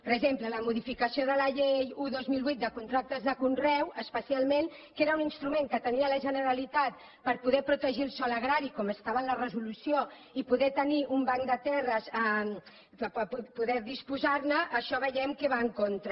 per exemple la modificació de la llei un dos mil vuit de contractes de conreu especialment que era un instrument que tenia la generalitat per poder protegir el sòl agrari com estava en la resolució i poder tenir un banc de terres per poder disposar ne això veiem que hi va en contra